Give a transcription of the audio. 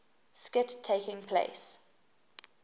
skit taking place